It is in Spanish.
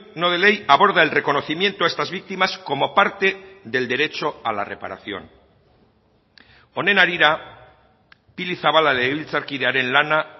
no de ley aborda el reconocimiento a estas víctimas como parte del derecho a la reparación honen harira pili zabala legebiltzarkidearen lana